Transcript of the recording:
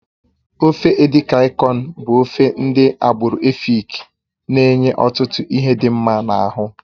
Ofe edikaikon bụ ofe ndị agbụrụ Èfik na-enye ọtụtụ ihe dị mma n'ahụ